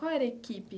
Qual era a equipe?